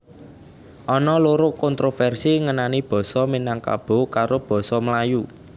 Ana loro kontroversi ngenani Basa Minangkabo karo basa Melayu